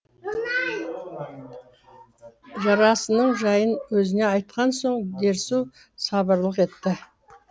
жарасының жайын өзіне айтқан соң дерсу сабырлық етті